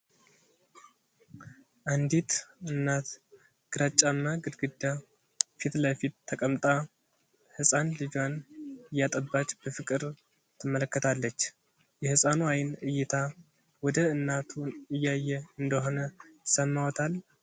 አንዲት እናት ግራጫማ ግድግዳ ፊት ለፊት ተቀምጣ ህፃን ልጇን እያጠባች በፍቅር ትመለከታለች። የህፃኑ የአይን እይታ ወደ እናቱ እያየ እንደሆነ ይሰማዎታል?